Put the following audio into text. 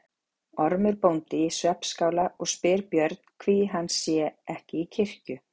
Ormur bóndi í svefnskála og spyr Björn hví hann sé ekki í kirkju.